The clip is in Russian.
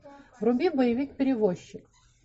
вруби боевик перевозчик